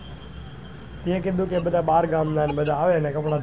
તે કીધું કે બધા બાર ગામ ના ને બધા આવે કપડા ધોવા,